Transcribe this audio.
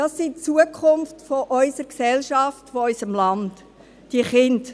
Die Kinder sind die Zukunft unserer Gesellschaft, unseres Landes.